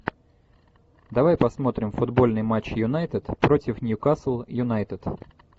давай посмотрим футбольный матч юнайтед против ньюкасл юнайтед